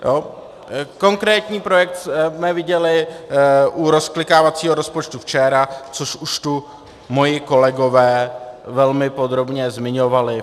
Konkrétní projekt jsme viděli u rozklikávacího rozpočtu včera, což už tu moji kolegové velmi podrobně zmiňovali.